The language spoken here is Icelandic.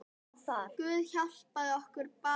Guð hjálpi okkur, bað hann.